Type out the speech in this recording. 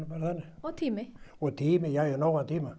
og tími og tími nóg af tíma